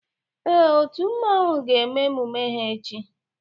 Ee, otu mmanwu ga eme emume ha echi